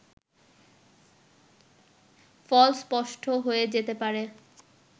ফল স্পষ্ট হয়ে যেতে পারে